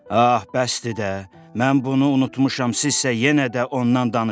Ah, bəsdir də, mən bunu unutmuşam, sizsə yenə də ondan danışırsınız!